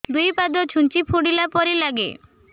ଦୁଇ ପାଦ ଛୁଞ୍ଚି ଫୁଡିଲା ପରି ଲାଗେ